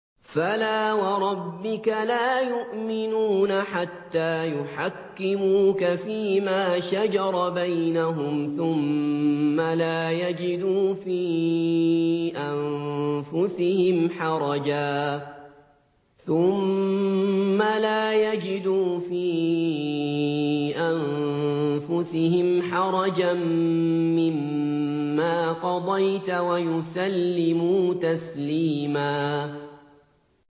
فَلَا وَرَبِّكَ لَا يُؤْمِنُونَ حَتَّىٰ يُحَكِّمُوكَ فِيمَا شَجَرَ بَيْنَهُمْ ثُمَّ لَا يَجِدُوا فِي أَنفُسِهِمْ حَرَجًا مِّمَّا قَضَيْتَ وَيُسَلِّمُوا تَسْلِيمًا